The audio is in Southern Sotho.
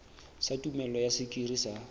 sa tumello ya sekiri sa